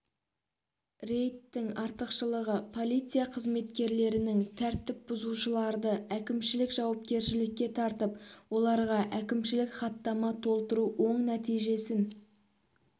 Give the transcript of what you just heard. рейдтің артықшылығы полиция қызметкерлерінің тәртіп бұзушыларды әкімшілік жауапкершілікке тартып оларға әкімшілік хаттама толтыру оң нәтижесін